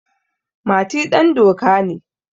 Mati dandoka ne.